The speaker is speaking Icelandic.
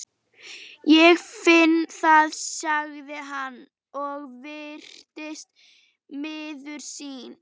Ég finn það, sagði hann og virtist miður sín.